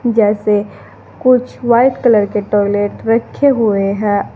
जैसे कुछ white colour के टॉयलेट रखे हुए है।